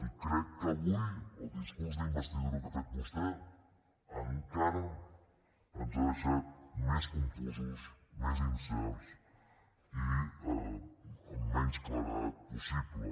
i crec que avui el discurs d’investidura que ha fet vostè encara ens ha deixat més confosos més incerts i amb menys claredat possible